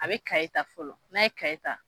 A bɛ kaye ta fɔlɔ n'a ye kaye ta